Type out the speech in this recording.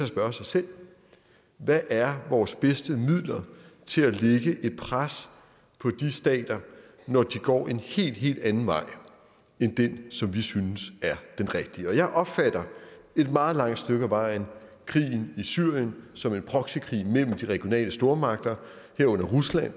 spørge sig selv hvad er vores bedste midler til at lægge et pres på de stater når de går en helt helt anden vej end den som vi synes er den rigtige jeg opfatter et meget langt stykke ad vejen krigen i syrien som en proxykrig mellem de regionale stormagter herunder rusland